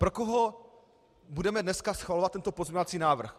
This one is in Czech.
Pro koho budeme dneska schvalovat tento pozměňovací návrh?